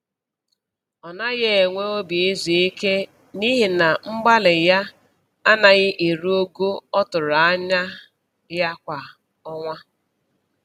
Ọ naghị enwe obi izu ike n'ihi na mgbalị ya anaghị eru ogo ọ tụrụ anya ya kwa ọnwa